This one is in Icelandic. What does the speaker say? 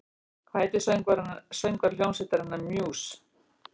Hvað heitir söngvari hljómsveitarinnar Muse?